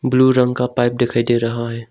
Blue रंग का pipe दिखाई दे रहा है।